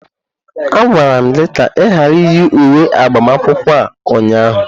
A gwara gị ka ị ghara iyi uwe agbamakwụkwọ a ụnyaahụ!